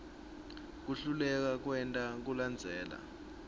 kuhluleka kwenta kulandzela